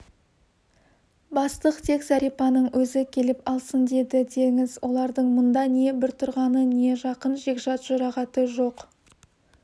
бастық тек зәрипаның өзі келіп алсын деді деңіз олардың мұнда не біртуғаны не жақын жекжат-жұрағаты жоқ